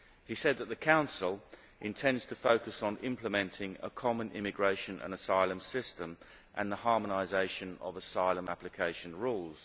He said that the Council intends to focus on implementing a common immigration and asylum system and the harmonisation of asylum application rules.